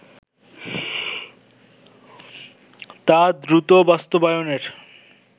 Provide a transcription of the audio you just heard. তা দ্রুত বাস্তবায়নের